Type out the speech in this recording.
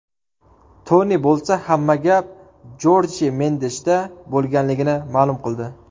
Toni bo‘lsa, hamma gap Jorje Mendeshda bo‘lganligini ma’lum qildi.